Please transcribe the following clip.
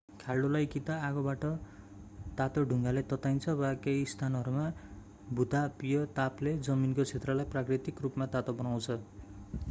खाल्डोलाई कि त आगोबाट तातो ढुङ्गाले तताइन्छ वा केहि स्थानहरूमा भूतापीय तापले जमिनको क्षेत्रलाई प्राकृतिक रूपमा तातो बनाउँछ